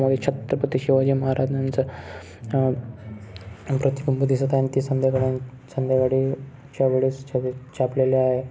या छत्रपती शिवाजी महाराजांच अह प्रतिबिंब दिसत आहे अन ते संध्याकाळी संध्याकाडचा वेळेस छबी छापलेले आहे.